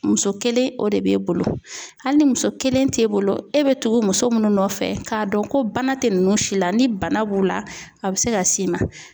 Muso kelen o de b'e bolo hali ni muso kelen t'e bolo e bɛ tugu muso munnu nɔfɛ k'a dɔn ko bana tɛ nunnu si la, ni bana b'u la, a bɛ se ka s'i ma.